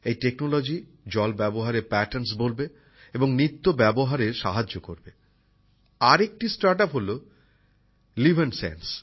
এই প্রযুক্তি জল ব্যবহারের ধারাকে বদলে দেবে এবং নিত্য ব্যবহারে সাহায্য করবে। আরেকটি স্টার্ট আপ হল লিভএনসেন্স